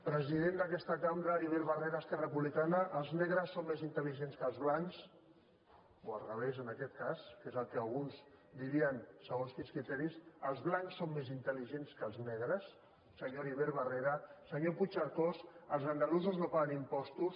president d’aquesta cambra heribert barrera esquerra republicana els negres són més intel·ligents que els blancs o al revés en aquest cas que és el que alguns dirien segons quins criteris els blancs són més intelsenyor puigcercós els andalusos no paguen impostos